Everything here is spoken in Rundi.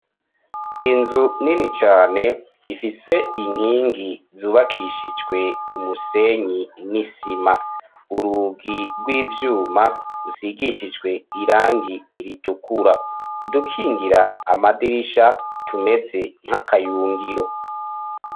Inzu nini cane ifise inkingi zubakishijwe umusenyi n'isima urugi rw'ivyuma rusigishijwe irangi iritukura udukingira amadirisha tumeze nk'akayungiro.